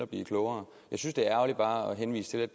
blive klogere jeg synes det er ærgerligt bare at henvise til at